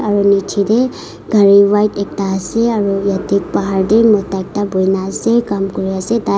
aru nichey tae gari white ekta ase aru yate bhar tae mota ekta bhuina ase kam kuri ase tai.